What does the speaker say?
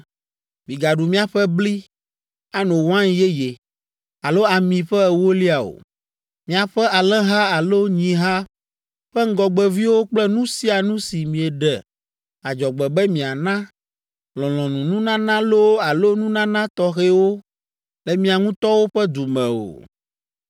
“Migaɖu miaƒe bli, ano wain yeye, alo ami ƒe ewolia o, miaƒe alẽha alo nyiha ƒe ŋgɔgbeviwo kple nu sia nu si mieɖe adzɔgbe be miana, lɔlɔ̃nununana loo alo nunana tɔxɛwo le mia ŋutɔwo ƒe du me o.